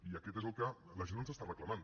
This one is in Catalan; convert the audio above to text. i aquest és el que la gent ens està reclamant